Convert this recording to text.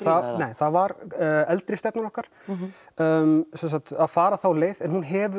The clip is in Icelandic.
það var eldri stefnan okkar að fara þá leið en hún hefur